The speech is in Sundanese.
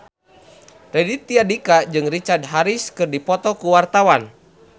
Raditya Dika jeung Richard Harris keur dipoto ku wartawan